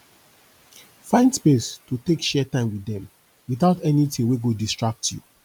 find space to take share time wit dem witout anytin wey go distract yu